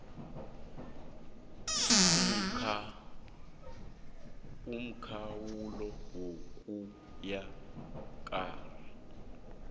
umkhawulo ukuya kur